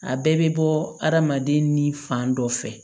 A bɛɛ bɛ bɔ adamaden ni fan dɔ fɛ